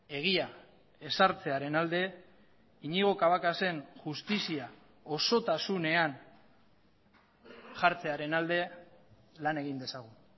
egia ezartzearen alde iñigo cabacas en justizia osotasunean jartzearen alde lan egin dezagun